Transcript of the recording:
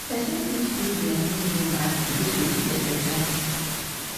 person fit use their living room as place to fit exercise